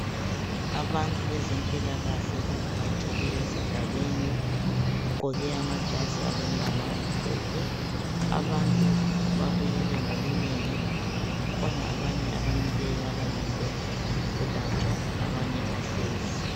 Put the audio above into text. Abantu bezempilakahle bavakatshele esigabeni. Bagqoke amajazi alombala omhlophe. Abantu babuyile ngobunengi. Kukhona abanye abamileyo abalinde ukwelatshwa. Abanye bahlezi.